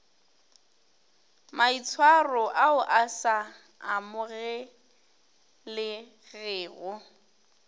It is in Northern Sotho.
maitshwaro ao a sa amogelegego